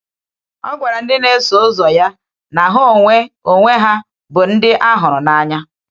Ọ gwakwara ndị na-eso ụzọ ya na ha onwe onwe ha bụ ndị a hụrụ n’anya.